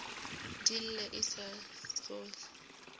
di lle e sa sohle